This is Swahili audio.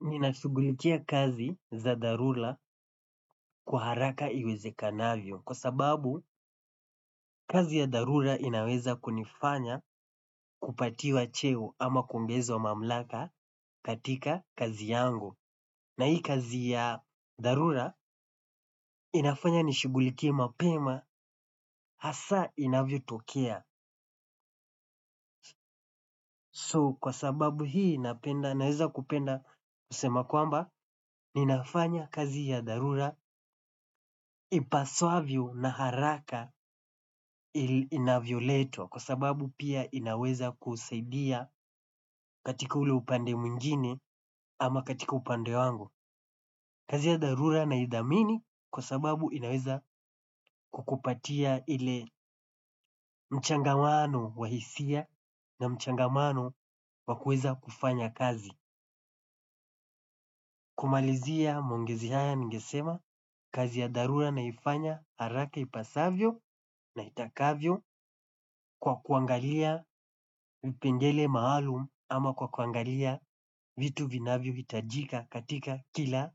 Nina shugulikia kazi za dharura kwa haraka iwezekanavyo kwa sababu kazi ya dharura inaweza kunifanya kupatiwa cheo ama kuongezwa mamlaka katika kazi yangu. Na hii kazi ya dharura inafanya nishugulikia mapema hasa inavyo tokea. So kwa sababu hii naweza kupenda kusema kwamba ninafanya kazi ya dharula ipasavyo na haraka ili inavyoletwa kwa sababu pia inaweza kusaidia katika ule upande mwingine ama katika upande wangu. Kazi ya dharura naithamini kwa sababu inaweza kukupatia ile mchangamano wa hisia na mchangamano wa kuweza kufanya kazi. Kumalizia maongezi haya ningesema kazi ya dharura naifanya haraka ipasavyo na itakavyo kwa kuangalia vipengele maalum ama kwa kuangalia vitu vinavyohitajika katika kila